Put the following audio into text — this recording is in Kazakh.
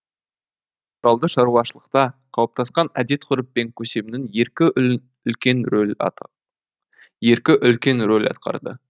натуралды шаруашылықта қалыптасқан әдет ғұрып пен көсемнің еркі еркі үлкен рөл атқарды